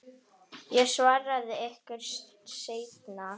Ég svara ykkur seinna.